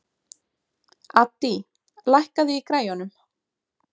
Addý, lækkaðu í græjunum.